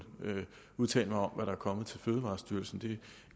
udtale mig om hvad der er kommet til fødevarestyrelsen det